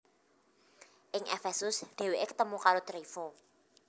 Ing Efesus dhèwèké ketemu karo Tryfo